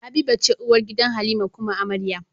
Habiba ce uwar gida halima kuma amarya